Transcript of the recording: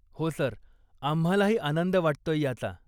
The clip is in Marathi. हो, सर, आम्हालाही आनंद वाटतोय ह्याचा.